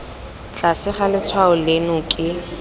tlase ga letshwao leno ke